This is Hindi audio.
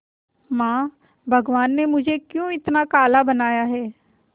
मां भगवान ने मुझे क्यों इतना काला बनाया है